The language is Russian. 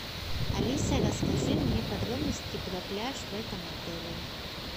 алиса расскажи мне подробности про пляж в этом отеле